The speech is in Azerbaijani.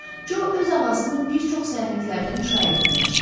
Co öz ağasını bir çox səyahətlərdə müşayiət eləmişdi.